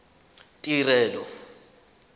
tirelo